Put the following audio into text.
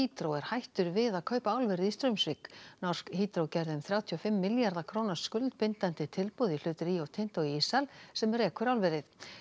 Hydro er hættur við að kaupa álverið í Straumsvík norsk gerði um þrjátíu og fimm milljarða króna skuldbindandi tilboð í hlut Rio Tinto í Ísal sem rekur álverið